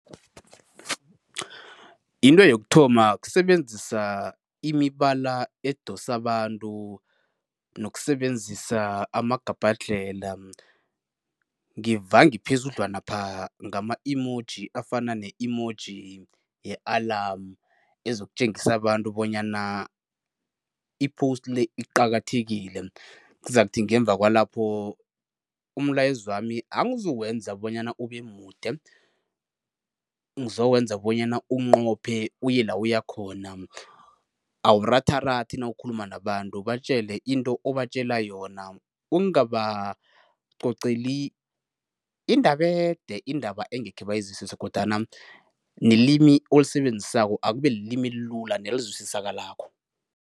Into yokuthoma kusebenzisa imibala edosa abantu nokusebenzisa amagabhadlhela, ngivange phezudlwanapha ngama-emoji afana ne-emoji ye-alarm ezokutjengisa abantu bonyana i-post le iqakathekile. Kuzakuthi ngemva kwalapho umlayezo wami angizowenza bonyana ube mude, ngizowenza bonyana unqophe uye la uya khona. Awuratharathi nawukhuluma nabantu, batjele into obatjela yona. Ungabacoceli indaba ede, indaba engekhe bayizwisise kodwana nelimi olisebenzisako akube lilimi elilula nelizwisisakalako.